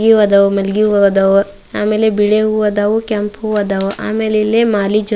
ಮಲ್ಲಿಗಿ ಹೂವು ಆದವು ಆಮೇಲೆ ಬಿಳಿ ಹೂವು ಆದವು ಕೆಂಪು ಹೂವು ಆದವು ಆಮೇಲೆ ಇಲ್ಲೇ ಮಾಲೆ ಜೊತೆ--